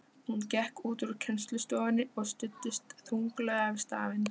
Hún gekk út úr kennslustofunni og studdist þunglega við stafinn.